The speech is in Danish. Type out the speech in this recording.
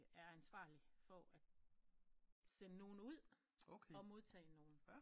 Er ansvarlig for at sende nogen ud og modtage nogen